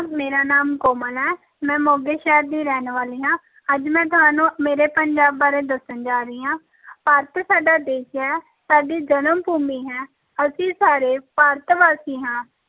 ਮੇਰਾ ਨਾਮ ਕੋਮਲ ਹੈ ਮੈਂ ਮੋਗੇ ਸ਼ਹਿਰ ਦੀ ਰਹਿਣ ਵਾਲੀ ਹਾਂ ਅੱਜ ਮੈਂ ਤੁਹਾਨੂੰ ਮੇਰੇ ਪੰਜਾਬ ਬਾਰੇ ਦੱਸਣ ਜਾ ਰਹੀ ਹਾਂ ਭਾਰਤ ਸਾਡਾ ਦੇਸ ਹੈ, ਸਾਡੀ ਜਨਮ ਭੂਮੀ ਹੈ ਅਸੀਂ ਸਾਰੇ ਭਾਰਤ ਵਾਸੀ ਹਾਂ,